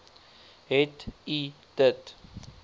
het u dit